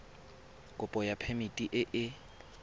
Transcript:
kopo ya phemiti e e